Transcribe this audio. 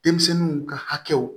Denmisɛnninw ka hakɛw